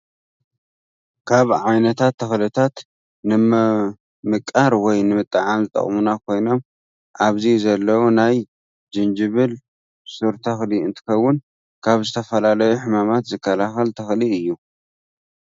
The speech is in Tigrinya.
ካብ ዓይነታት ተኽሊታት ንመምቃር ወይ ንምጥዓም ዝጠቅሙና ኮይኖም ኣብዚ ዘለው ናይ ጅንጅል ሱር ተኽሊ እንትከውን ካብ ዝተፈላለዩ ሕማማት ዝከላከል ተኽሊ እዩ።